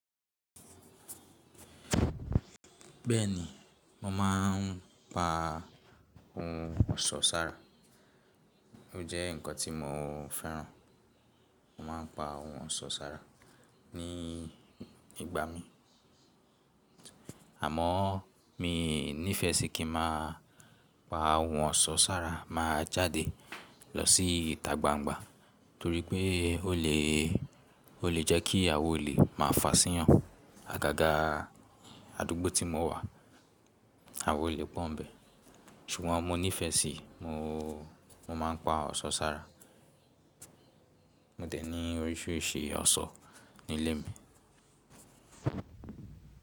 Bẹ́ẹ̀ni, mo máà ń pa ohun ọ̀ṣọ́ sára. O je nnkan tí mọ fẹ́ràn. Mo máa ń pa ohun ọ̀ṣọ́ sára ní ìgbà mí, àmọ́ mi ní ìfẹ́ sí kí ma pa ohun ọ̀ṣọ́ sára máa jáde lọ sí ìta gbangba torí pé ó lè, ó lè jẹ́ kí àwon olè máa fà síyan àgàgà àdúgbò tí mo wà, àwon olè pọ̀ ń bẹ. Ṣùgbọ́n mo nífẹ́ sí i, mo, mo máa ń pa ọ̀ṣọ́ sára. Mo dẹ̀ ní oríṣiríṣi ọ̀ṣọ́ nílé mi.